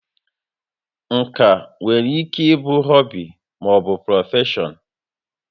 Nka nwere ike ịbụ họbị maọbụ prọfeshọn